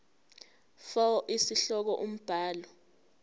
fal isihloko umbhali